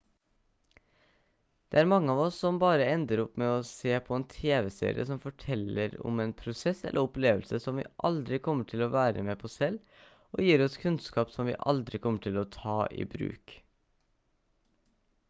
det er mange av oss som bare ender opp med å se på en tv-serie som forteller om en prosess eller opplevelse som vi aldri kommer til å være med på selv og gir oss kunnskap som vi aldri kommer til å ta i bruk